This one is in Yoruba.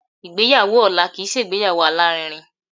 Ìgbéyàwó ọ̀la kìí ṣe ìgbéyàwó alárinrin.